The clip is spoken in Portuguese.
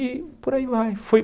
E por aí vai. Foi